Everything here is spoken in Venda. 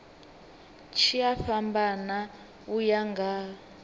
tshi a fhambana uya nga